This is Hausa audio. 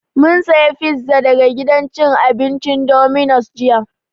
Mun saya pizza daga gidan cin abincin Dominos jiya